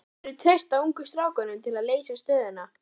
Myndirðu treysta ungu strákunum til að leysa stöðuna?